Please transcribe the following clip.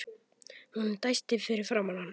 Hún dæsti fyrir framan hann.